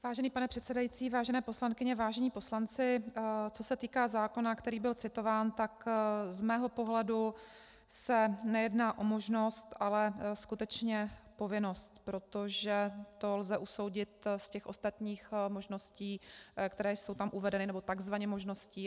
Vážený pane předsedající, vážené poslankyně, vážení poslanci, co se týká zákona, který byl citován, tak z mého pohledu se nejedná o možnost, ale skutečně povinnost, protože to lze usoudit z těch ostatních možností, které jsou tam uvedeny nebo takzvaně možností.